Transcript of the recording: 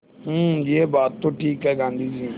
हूँ यह बात तो ठीक है गाँधी जी